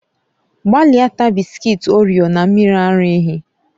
Gbalịa taa bị́sikití orio na mmiri ara ehi